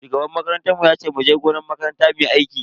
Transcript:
Shugaban makarantar mu yace muje gonan makaranta muyi aiki.